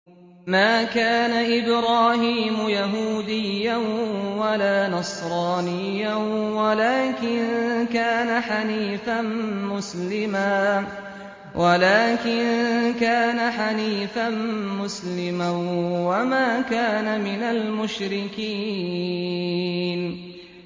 مَا كَانَ إِبْرَاهِيمُ يَهُودِيًّا وَلَا نَصْرَانِيًّا وَلَٰكِن كَانَ حَنِيفًا مُّسْلِمًا وَمَا كَانَ مِنَ الْمُشْرِكِينَ